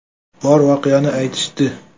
Bor voqeani aytishdi.